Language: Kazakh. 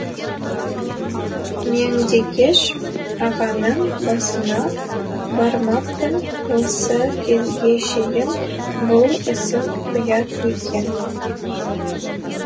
меңдекеш ағаның басына бармаппын осы кезге шейін бұл ісім ұят екен